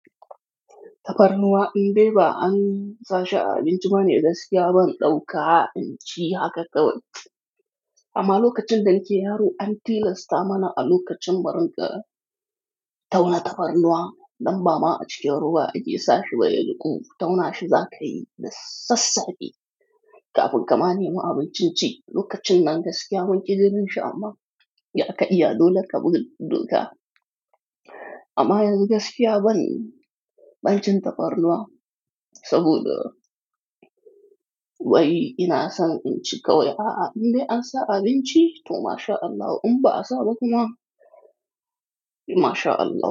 Tafarnuwa in dai ba an sa shi a abin cibane gaskiya ban ɗauka in ci haka kawai. Amma lokacin da nake yaro an ti lasta mana a lokacin marinƙa tauna tafarnuwa, damba ma a cikin ruwa a ke sa shi baya juƙu, tauna shi za ka yi da sassafe Ka fun kama nema abin cin ci, lokacin nan gas kiya mun ƙi jininshi shi amma ya ka'iya dole ka bi doka. Amma yanzu gas kiya ban ban cin tafarnuwa saboda wai ina son in ci kawai a'a in de an sa a abin ci to mashallah in ba a sa ba kuma mashallah.